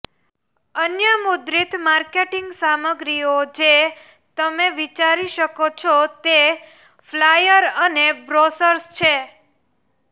અન્ય મુદ્રિત માર્કેટિંગ સામગ્રીઓ જે તમે વિચારી શકો છો તે ફ્લાયર અને બ્રોશર્સ છે